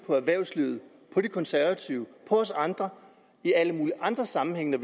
erhvervslivet de konservative og os andre i alle mulige andre sammenhænge